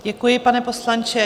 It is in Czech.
Děkuji, pane poslanče.